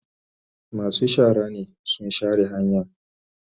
Masu shara ne sun share hanyan.